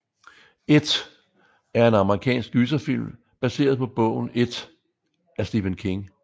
It er en amerikansk gyserfilm baseret på bogen It af Stephen King